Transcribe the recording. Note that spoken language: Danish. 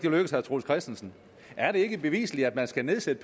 lykkes herre troels christensen er det ikke bevisligt at man skal nedsætte